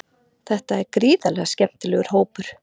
Þetta er gríðarlega skemmtilegur hópur.